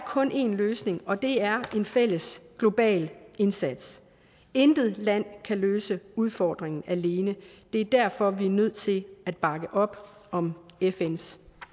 kun én løsning og det er en fælles global indsats intet land kan løse udfordringen alene det er derfor vi er nødt til at bakke op om fns